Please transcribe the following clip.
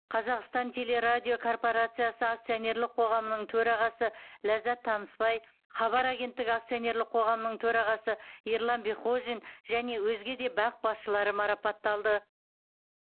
қазақстан телерадиокорпорациясы акционерлік қоғамының төрағасы ләззат танысбай хабар агенттігі акционерлік қоғамының төрағасы ерлан бекхожин және өзге де бақ басшылары марапатталды